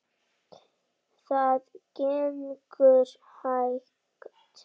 Það gengur hægt.